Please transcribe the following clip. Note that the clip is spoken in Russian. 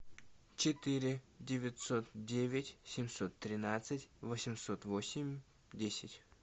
четыре девятьсот девять семьсот тринадцать восемьсот восемь десять